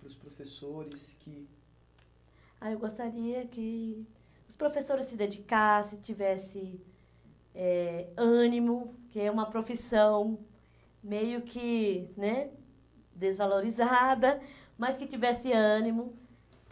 Para os professores que... Ah, eu gostaria que os professores se dedicassem, tivessem eh ânimo, que é uma profissão meio que né, desvalorizada, mas que tivesse ânimo,